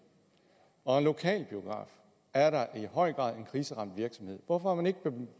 og en lokalbiograf er da i høj grad en kriseramt virksomhed hvorfor har man ikke